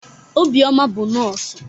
Obioma bụ nọọsụ.